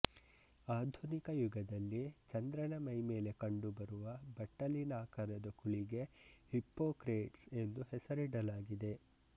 ಆಧುನಿಕ ಯುಗದಲ್ಲಿ ಚಂದ್ರನ ಮೈಮೇಲೆ ಕಂಡುಬರುವ ಬಟ್ಟಲಿನಾಕಾರದ ಕುಳಿಗೆ ಹಿಪ್ಪೊಕ್ರೇಟ್ಸ್ ಎಂದು ಹೆಸರಿಡಲಾಗಿದೆ